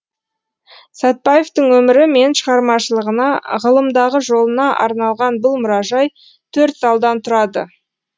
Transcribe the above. сәтбаевтың өмірі мен шығармашылығына ғылымдағы жолына арналған бұл мұражай төрт залдан тұрады